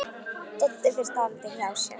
Doddi fer dálítið hjá sér.